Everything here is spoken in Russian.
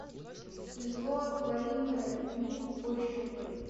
зло творимое людьми пошукай